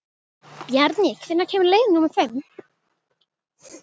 Bjarný, hvenær kemur leið númer fimm?